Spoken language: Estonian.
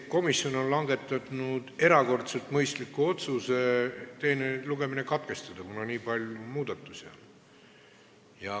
Komisjon on langetanud erakordselt mõistliku otsuse teine lugemine katkestada, kuna on nii palju muudatusi tehtud.